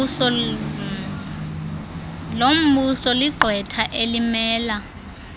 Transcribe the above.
lombuso ligqwetha elimela